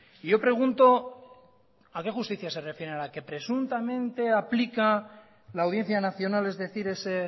y yo pregunto a qué justicia se refieren a la que presuntamente aplica la audiencia nacional es decir a ese